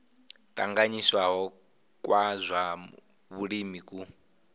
tanganyisiwaho kwa zwa vhulimi ku